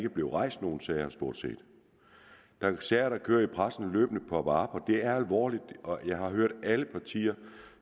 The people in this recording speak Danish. rejst nogle sager der er sager der kører i pressen og løbende popper op og det er alvorligt og jeg har hørt alle partier